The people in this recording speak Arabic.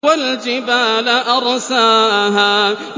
وَالْجِبَالَ أَرْسَاهَا